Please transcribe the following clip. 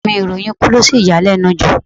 Ọ̀rẹ́ẹ̀ mi ìròyìn ikú lo sì yanilẹ́nu jù.